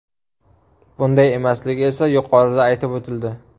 Bunday emasligi esa yuqorida aytib o‘tildi.